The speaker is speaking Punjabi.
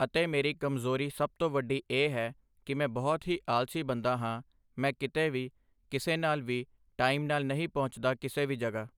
ਅਤੇ ਮੇਰੀ ਕਮਜ਼ੋਰੀ ਸਭ ਤੋਂ ਵੱਡੀ ਇਹ ਹੈ ਕਿ ਮੈਂ ਬਹੁਤ ਹੀ ਆਲ਼ਸੀ ਬੰਦਾ ਹਾਂ ਮੈਂ ਕਿਤੇ ਵੀ ਕਿਸੇ ਨਾਲ ਵੀ ਟਾਇਮ ਨਾਲ ਨਹੀਂ ਪਹੁੁੰਚਦਾ ਕਿਸੇ ਵੀ ਜਗ੍ਹਾ